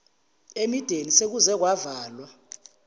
imideni sekuze kwavalwa